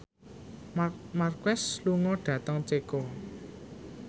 Marc Marquez lunga dhateng Ceko